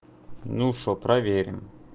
ну что проверим